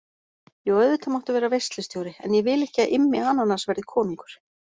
Jú, auðvitað máttu vera veislustjóri en ég vil ekki að Immi ananas verði konungur.